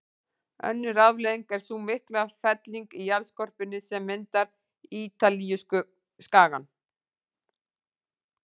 Önnur afleiðing er sú mikla felling í jarðskorpunni sem myndar Ítalíuskagann.